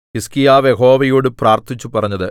ഹിസ്കീയാവ് യഹോവയോടു പ്രാർത്ഥിച്ചു പറഞ്ഞത്